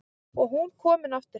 Og hún komin aftur heim.